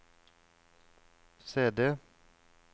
CD